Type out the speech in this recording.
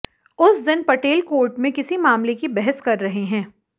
उस दिन पटेल कोर्ट में किसी मामले की बहस कर रहे हैं